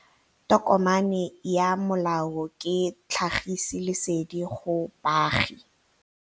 Tokomane ya molao ke tlhagisi lesedi go baagi.